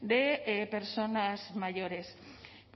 de personas mayores